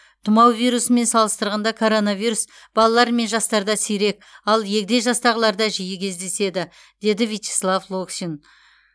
тұмау вирусымен салыстырғанда коронавирус балалар мен жастарда сирек ал егде жастағыларда жиі кездеседі дейді вячеслав локшин